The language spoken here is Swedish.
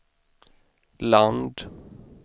land